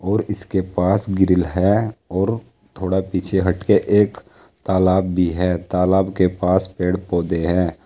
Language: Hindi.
और इसके पास ग्रिल है और थोड़ा पीछे हटके एक तालाब भी है। तालाब के पास पेड़ पौधे हैं।